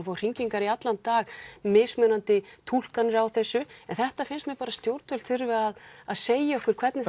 fá hringingar í allan dag mismunandi túlkanir á þessu þetta finnst mér bara að stjórnvöld þurfi að að segja okkur hvernig